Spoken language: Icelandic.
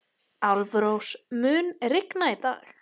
Álfrós, mun rigna í dag?